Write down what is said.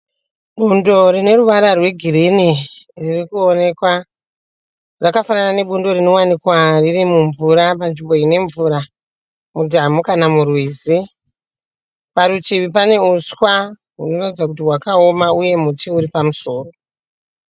Bundo rine ruvara rwegirini riri kuonekwa. Rakafanana nebundo rinowanikwa riri mumvura panzvimbo ine mvura murwizi kana mudhamhu. Parutivi pane uswa hunoratidza kuti hwakaoma uye muti uri pamusoro.